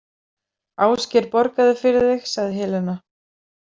Ásgeir borgaði fyrir þig, sagði Helena.